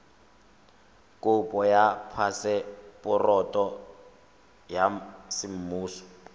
kopo ya phaseporoto ya semmuso